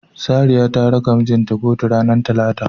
Sariya zata raka mijinta kotun ranar talata.